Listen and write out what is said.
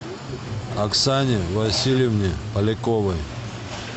оксане васильевне поляковой